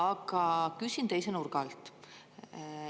Aga küsin teise nurga alt.